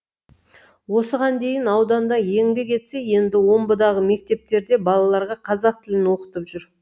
осыған дейін ауданда еңбек етсе енді омбыдағы мектептерде балаларға қазақ тілін оқытып жүр